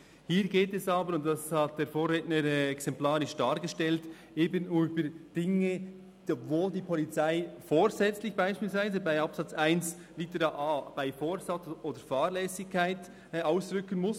Hier geht es aber – und das hat der Vorredner exemplarisch dargestellt – eben um Dinge, wo die Polizei vorsätzlich, beispielsweise gemäss Absatz 1 Buchstabe a «bei Vorsatz oder Fahrlässigkeit» ausrücken muss.